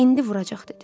İndi vuracaq, dedi.